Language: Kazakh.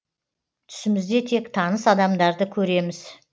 түсімізде тек таныс адамдарды көреміз